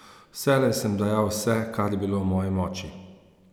Vselej sem dajal vse, kar je bilo v moji moči.